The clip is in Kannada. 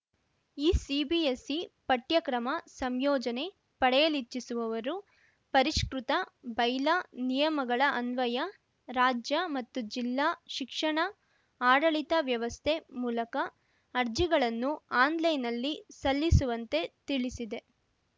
ಈ ಸಿಬಿಎಸ್‌ಇ ಪಠ್ಯಕ್ರಮ ಸಂಯೋಜನೆ ಪಡೆಯಲಿಚ್ಛಿಸುವವರು ಪರಿಷ್ಕೃತ ಬೈಲಾ ನಿಯಮಗಳ ಅನ್ವಯ ರಾಜ್ಯ ಮತ್ತು ಜಿಲ್ಲಾ ಶಿಕ್ಷಣ ಆಡಳಿತ ವ್ಯವಸ್ಥೆ ಮೂಲಕ ಅರ್ಜಿಗಳನ್ನು ಆನ್‌ಲೈನ್‌ನಲ್ಲಿ ಸಲ್ಲಿಸುವಂತೆ ತಿಳಿಸಿದೆ